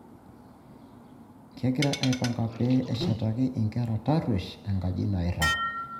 Kegiraa aipanga pee eshetaki inkera tarruesh enkaji nairag.